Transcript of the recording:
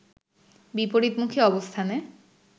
বিপরীতমুখী অবস্থানে